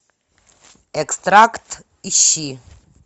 экстракт ищи